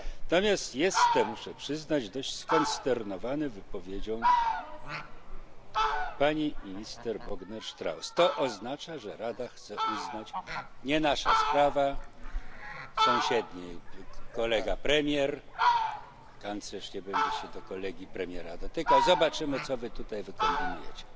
Natomiast jestem, muszę przyznać, dość skonsternowany wypowiedzią pani minister Bogner Strauß, to oznacza, że Rada chce uznać nie nasza sprawa, sąsiedni kolega premier, kanclerz nie będzie się do kolegi premiera dotykał, zobaczymy, co wy tutaj wykombinujecie.